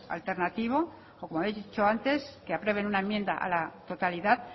alternativo como he dicho antes que aprueben una enmienda a la totalidad